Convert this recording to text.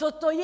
Co to je?!